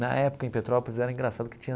Na época, em Petrópolis, era engraçado que tinha.